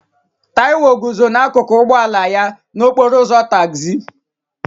Taiwo guzo n'akụkụ ụgbọ ala ya n'okporo ụzọ tagzi